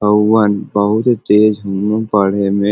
हऊवन बहुत तेज हम्म पढ़े में।